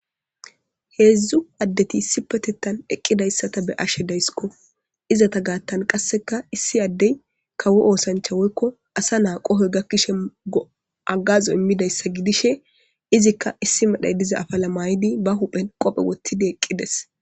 Hezdu adeti issipetetan eqidaysa ta be'ashe daysko izata gatan qaseka issi adey kawo osancha woyko asa na'a qohoy gakishe agazo imizayssa gidishin izika issi medhay diza afala ma'idi ba huphen qobe wotidi eqides.